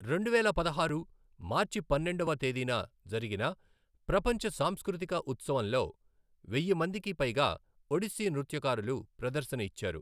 రెండువేల పదహారు మార్చి పన్నెండవ తేదీన జరిగిన ప్రపంచ సాంస్కృతిక ఉత్సవంలో, వెయ్యి మందికి పైగా ఒడిస్సీ నృత్యకారులు ప్రదర్శన ఇచ్చారు.